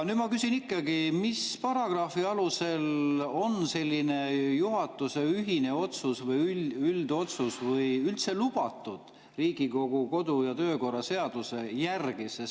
Nüüd ma küsin ikkagi, mis paragrahvi alusel on selline juhatuse ühine otsus või üldotsus üldse lubatud Riigikogu kodu‑ ja töökorra seaduse järgi.